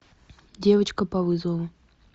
девочка по вызову